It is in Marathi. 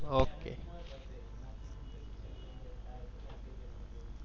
ok